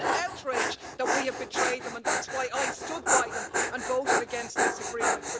It's an outrage that we have betrayed them and that's why I stood by them and voted against this agreement.